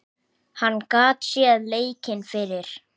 Hann gat séð leikinn fyrir.